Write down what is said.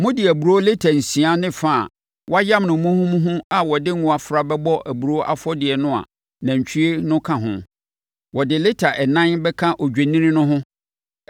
Mode aburoo lita nsia ne fa a wɔayam no muhumuhu a wɔde ngo afra bɛbɔ aburoo afɔdeɛ no a nantwie no ka ho. Wɔde lita ɛnan bɛka odwennini no ho